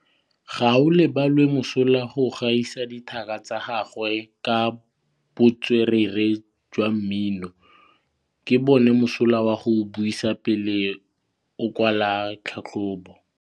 Gaolebalwe o mosola go gaisa dithaka tsa gagwe ka botswerere jwa mmino. Ke bone mosola wa go buisa pele o kwala tlhatlhobô.